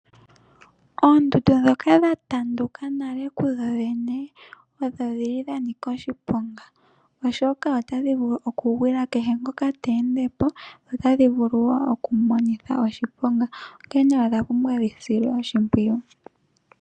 Oondundu ndhoka dha tanduka nale kudhodhene odha nika oshiponga, oshoka otadhi vulu okugwila kehe ngoka te ende po notadhi vulu wo oku mu monitha oshiponga. Onkene odha pumbwa dhi silwe oshimpwiyu.